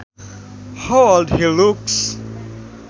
How old he looks